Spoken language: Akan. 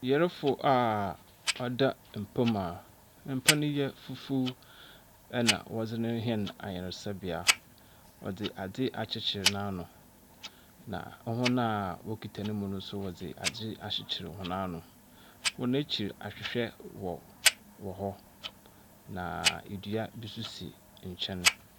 Yarfo a ɔda mpa mu a mpa ne yɛ fufuw na wɔdze no rehɛn ayarsabea. Wɔdze adze akyekyer n’ano, na hɔn a wɔkita no mu so wɔdze adze akyekyer han ano. Hɔn ekyir, ahwehwɛ wɔ hɔ na dua bi nso si nkyɛn.